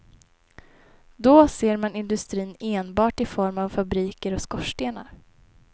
Då ser man industrin enbart i form av fabriker och skorstenar.